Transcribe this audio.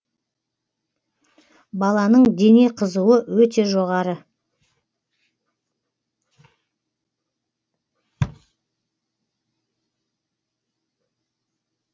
баланың дене қызуы өте жоғары